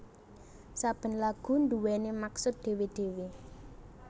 Saben lagu nduwèni maksud dhewe dhewe